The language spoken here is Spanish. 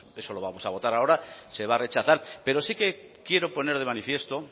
decir que bueno eso lo vamos a votar ahora se va a rechazar pero sí que quiero poner de manifiesto